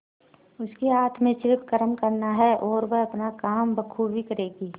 उसके हाथ में सिर्फ कर्म करना है और वह अपना काम बखूबी करेगी